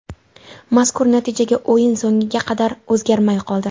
Mazkur natijaga o‘yin so‘ngiga qadar o‘zgarmay qoldi.